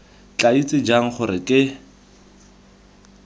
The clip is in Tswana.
tla itse jang gore ke